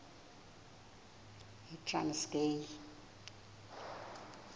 yitranskayi